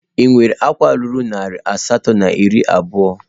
Ị nwere akwa ruru narị asatọ na iri abụọ?